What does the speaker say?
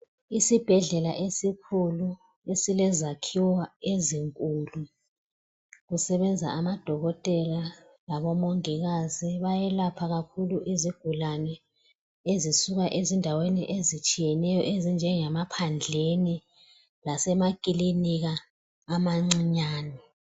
Isibhedlela esikhulu esilezakhiwo ezinkulu. Kusebenza odokotela labomongikazi, bayelapha kakhulu izigulane ezisuka endaweni ezitshiyeneyo ezinjengemaphandleni lasemakilinika amancinyane.